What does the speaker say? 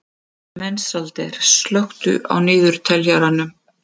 Mensalder, slökktu á niðurteljaranum.